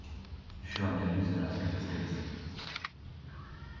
ещё одна иллюзия разбита вдребезги